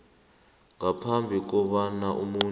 ngaphambi kobana umuntu